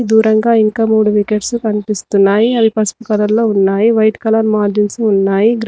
దూరంగా ఇంకా మూడు వికెట్స్ కనిపిస్తున్నాయి అవి పసుపు కలర్ లో ఉన్నాయి వైట్ కలర్ మార్గిన్స్ ఉన్నాయి గ్రౌండ్ --